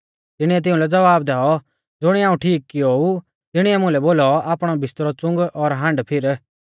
तिणीऐ तिउंलै ज़वाब दैऔ ज़ुणिऐ हाऊं ठीक कियो ऊ तिणीऐ मुलै बोलौ आपणौ बिस्तरौ च़ुंग और आण्डफिर